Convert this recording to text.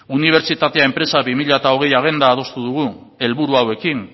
unibertsitatea enpresa bi mila hogei agenda adostu dugu helburu hauekin